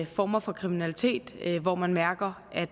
former for kriminalitet hvor man mærker at